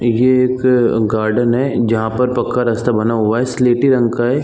ये एक गार्डन है जहाँ पर पक्का रास्ता बना हुआ है स्लॆटी रंग का हैं ।